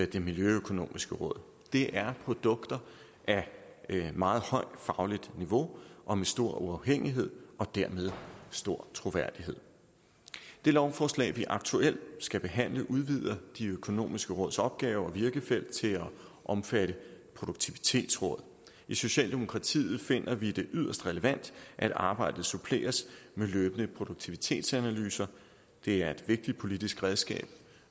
det miljøøkonomiske råd det er produkter af et meget højt fagligt niveau og med stor uafhængighed og dermed stor troværdighed det lovforslag vi aktuelt skal behandle udvider det økonomiske råds opgave og virkefelt til at omfatte produktivitetsråd i socialdemokratiet finder vi det yderst relevant at arbejdet suppleres med løbende produktivitetsanalyser det er et vigtigt politisk redskab